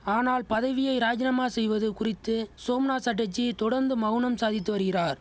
ஆனால் பதவியை ராஜினாமா செய்வது குறித்து சோம்நாத் சட்டர்ஜி தொடந்து மவுனம் சாதித்து வரிகிறார்